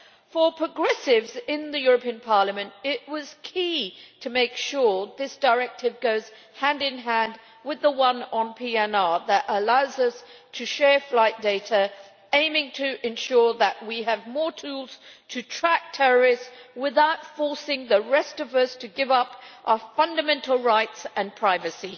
For progressives in the European Parliament, it was key to make sure that this directive goes hand in hand with the one on PNR, which allows us to share flight data, the aim being to ensure that we have more tools to track terrorists without forcing the rest of us to give up our fundamental rights and privacy.